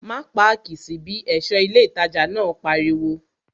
Má páàkì sí bí! ẹ̀ṣọ́ ilé ìtajà náà pariwo